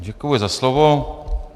Děkuji za slovo.